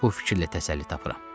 Bu fikirlə təsəlli tapıram.